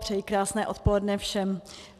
Přeji krásné odpoledne všem.